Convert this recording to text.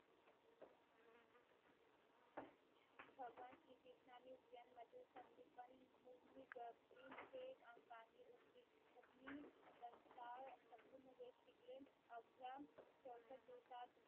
भगवान श्री कृष्ण ने उजैन मधील संदीपान मुगमी अंकांनी उक्मिणी त्यांचा संपूर्ण वेष शिकले अवघ्या चौशत दिवसात